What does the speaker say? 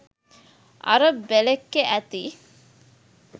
අර බෙළෙක්කෙ ඇති